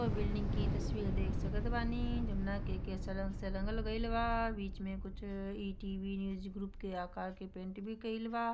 एक बिल्डिंग की तस्वीर देख सकत बानी जमना के सैलून के सकत लगल बा| बीच में कुछ ई_टी_वी न्यूज़ ग्रुप के आकर के प्रिंट भी कैलवा।